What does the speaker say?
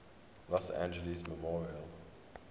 los angeles memorial